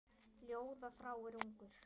Ljóða þráir ungur.